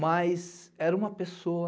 Mas era uma pessoa